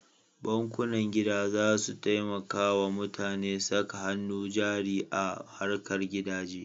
Bankunan gida za su taimaka wa mutane saka hannu jari a harkar gidaje.